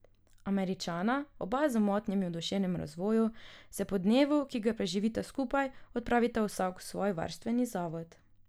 Američana, oba z motnjami v duševnem razvoju, se po dnevu, ki ga preživita skupaj, odpravita vsak v svoj varstveni zavod.